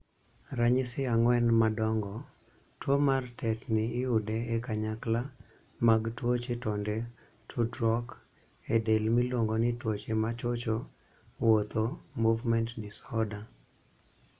Ranyisi ang'wen madongo. Tuo mar tetni iyude e kanyakla mag tuoche tonde tudruok e del miluongo ni tuoche machocho wuotho (movement disorders').